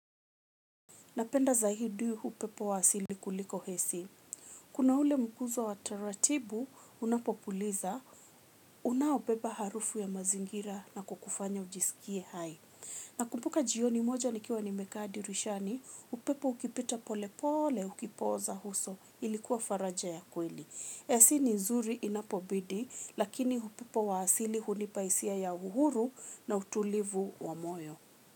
Napenda zaidi upepo wa asili kuliko hesi. Kuna ule mkuzo wa taratibu unapopuliza, unaobeba harufu ya mazingira na kukufanya ujisikie hai. Na kumbuka jioni moja nikiwa nimekaa dirishani, upepo ukipita pole pole ukipoza uso ilikuwa faraja ya kweli. Ac ni nzuri inapobidi lakini upepo wa asili hunipa hisia ya uhuru na utulivu wa moyo.